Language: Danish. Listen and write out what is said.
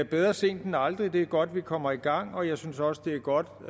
bedre sent end aldrig det er godt vi kommer i gang og jeg synes også det er godt